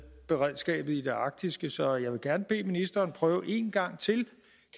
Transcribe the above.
beredskabet i det arktiske så jeg vil gerne bede ministeren prøve en gang til